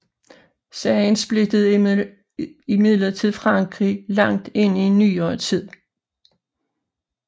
Sagen splittede imidlertid Frankrig langt ind i nyere tid